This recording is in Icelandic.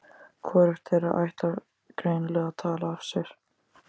Hvorugt þeirra ætlar greinilega að tala af sér.